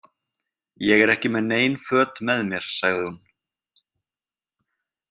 Ég er ekki með nein föt með mér, sagði hún.